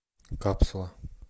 капсула